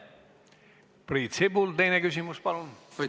Priit Sibul, teine küsimus, palun!